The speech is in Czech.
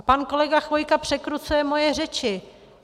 A pan kolega Chvojka překrucuje moje řeči.